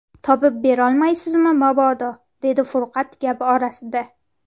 Topib berolmaysizmi, mobodo, - dedi Furqat gap orasida.